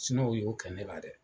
y'o kɛ ne la dɛ